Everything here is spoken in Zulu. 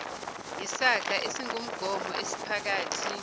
yisaga esingumgomo esiphakathi